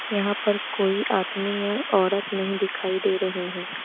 यहां पर कोई आदमी या औरत नहीं दिखाई दे रहे हैं।